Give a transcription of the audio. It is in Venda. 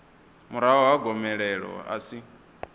murahu ha gomelelo a si